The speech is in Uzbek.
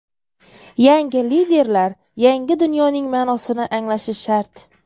Yangi liderlar yangi dunyoning ma’nosini anglashi shart.